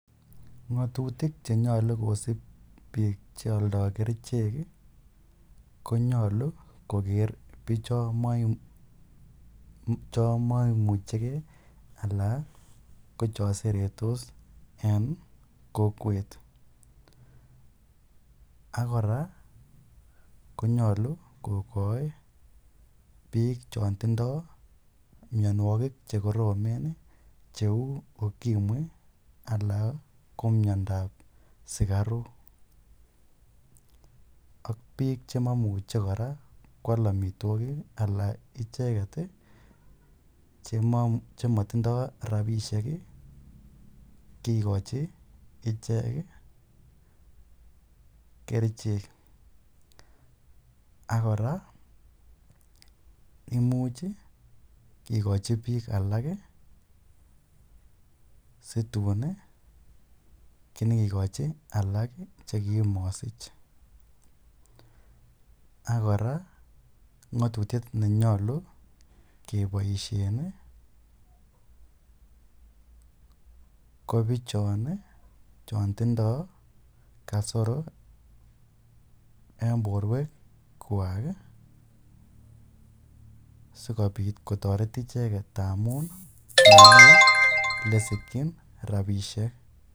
Ngotutik chenyolu kosib biik cheoldo kerichek ko nyolu koker bichon momucheke alaan ko choseretos en kokwet, ak kora konyolu kokoi biik chon tindo mionwokik chekoromen cheu ukimwi alaan ko miondab sikaruk ak biik chemomuche kwaal amitwokik alaan icheket chemotindo rabishek kikokchi ichek kerichek ak kora imuch kikochi biik alak situn inyokikochi alak chekimosich, ak kora ngotutiet nenyolu keboishen kobichon tindo kasoro en borwekwak sikobit kotoret icheket ndamun momi elesikyin rabishek.